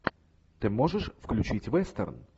ты можешь включить вестерн